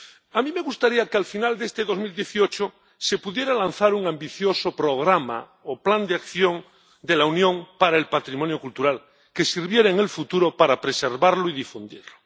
A mí me gustaría que al final de este 2018 se pudiera lanzar un ambicioso programa o plan de acción de la Unión para el patrimonio cultural que sirviera en el futuro para preservarlo y difundirlo.